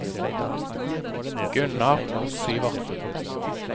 Gunnar Syvertsen